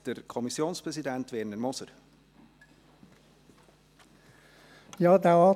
Der Kommissionspräsident Werner Moser hat das Wort.